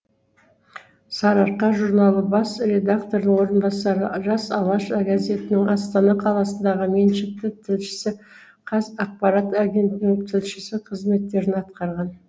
сарыарқа журналы бас редакторының орынбасары жас алаш газетінің астана қаласындағы меншікті тілшісі қазақпарат агенттігінің тілшісі қызметтерін атқарған